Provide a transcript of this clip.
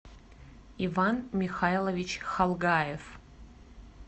иван михайлович халгаев